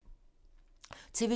TV 2